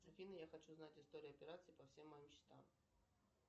афина я хочу знать историю операций по всем моим счетам